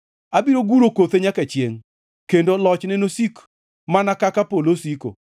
Abiro guro kothe nyaka chiengʼ, kendo lochne nosiki mana kaka polo osiko.